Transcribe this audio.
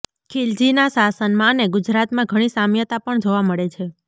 ખીલજીના શાસનમાં અને ગુજરાતમાં ઘણી સામ્યતા પણ જોવા મળે છે